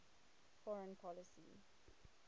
foreign policy